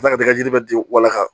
ji bɛ di wala ka